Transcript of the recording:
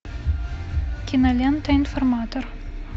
кинолента информатор